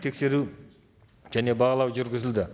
тексеру және бағалау жүргізілді